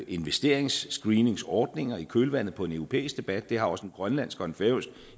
investeringsscreeningsordninger i kølvandet på en europæisk debat det har også en grønlandsk og færøsk